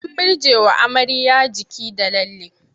An murjjewa amarya jiki da lalle.